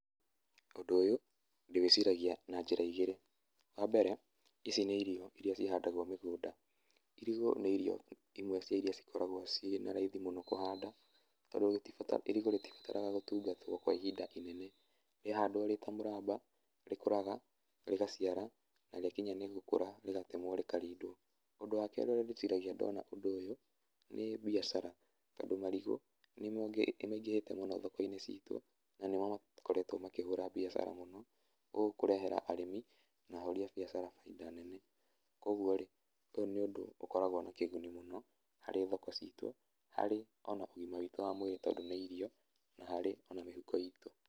Ũndũ ũyũ ndĩwĩciragia na njĩra igĩri, wa mbere ici nĩ irio iria cihadagwo mũgũnda. Irigũ nĩ irio imwe cia iria cikoragwo cie na raithi mũno kũhanda tondũ irigũ ritibataraga gũtungatwo kwa ihinda inene. rĩahandwo rĩta mũramba rĩkũraga, rĩgaciara na rĩakinya nĩ gũkũra rĩgatemwo rĩkaridwo. Ũndũ wa kerĩ ũrĩa ndĩciragia ndona ũndũ ũyũ nĩ biacara tondũ marigũ nĩmaingĩhĩte mũno thoko-inĩ ciitũ na nĩmo makoretwo makĩhũra biacara mũno ũũ kũrehera arĩmi na ahũri a biacara bainda nene koguo rĩ, ũyũ ni ũndũ ũkoragwo na kiguni mũno hari thoko citu, hari ona ũgima witu wa mwĩrĩ tondũ nĩ irio na harĩ ona mĩhuko itu.